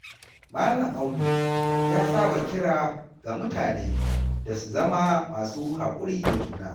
Malam Audu ya saba kira ga mutane da su zama masu hakuri da juna.